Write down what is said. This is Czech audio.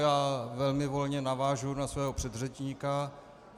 Já velmi volně navážu na svého předřečníka.